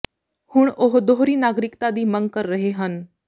ਹੁਣ ਉਹ ਦੋਹਰੀ ਨਾਗਰਿਕਤਾ ਦੀ ਮੰਗ ਕਰ ਰਹੇ ਹਨ